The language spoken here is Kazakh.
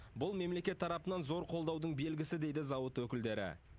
бұл мемлекет тарапынан зор қолдаудың белгісі дейді зауыт өкілдері